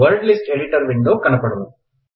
word list editor window కనపడును